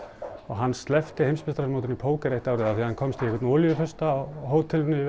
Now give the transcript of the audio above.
hann sleppti heimsmeistaramótinu í póker eitt árið af því að hann komst í einhvern olíufursta á hótelinu í